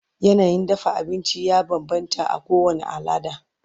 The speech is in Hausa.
yanayin dafa abinci ya banbanta a kowani alada